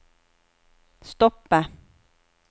stoppe